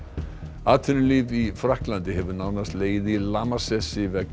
atvinnulíf í Frakklandi hefur nánast legið í lamasessi vegna